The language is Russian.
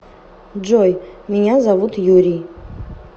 джой меня зовут юрий